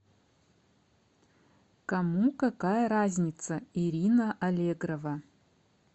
кому какая разница ирина аллегрова